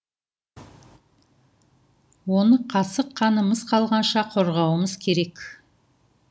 оны қасық қанымыз қалғанша қорғауымыз керек